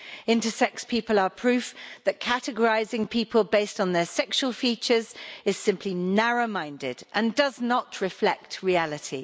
Intersex people are proof that categorising people on the basis of their sexual features is simply narrow minded and does not reflect reality.